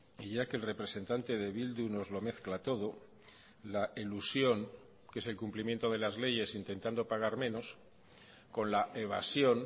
y ya que el representante de bildu nos lo mezcla todo la elusión que es el cumplimiento de las leyes intentando pagar menos con la evasión